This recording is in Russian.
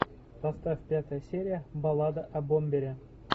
поставь пятая серия баллада о бомбере